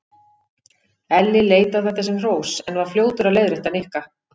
Elli leit á þetta sem hrós en var fljótur að leiðrétta Nikka.